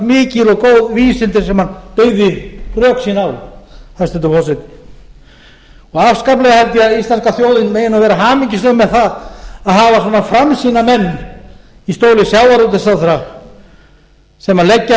vísindi sem hann byggði rök sín á hæstvirtur forseti afskaplega held ég að íslenska þjóðin megi nú vera hamingjusöm með það að hafa svona framsýna menn í stóli sjávarútvegsráðherra sem leggja